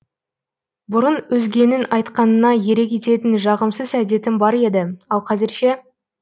бұрын өзгенің айтқанына ере кететін жағымсыз әдетім бар еді ал қазір ше